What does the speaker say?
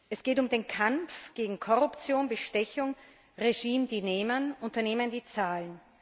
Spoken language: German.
Es geht um den Kampf gegen Korruption, Bestechung Regime, die nehmen, Unternehmen, die zahlen.